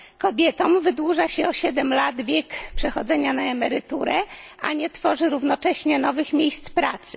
Kobietom wydłuża się o 7 lat wiek przechodzenia na emeryturę, a nie tworzy równocześnie nowych miejsc pracy.